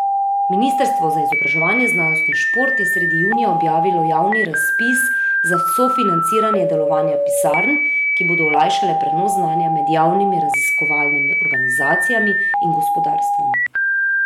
Ministrstvo za izobraževanje, znanost in šport je sredi junija objavilo javni razpis za sofinanciranje delovanja pisarn, ki bodo olajšale prenos znanja med javnimi raziskovalnimi organizacijami in gospodarstvom.